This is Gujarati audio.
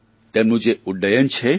તેમનું જે ઉડ્ડયન છે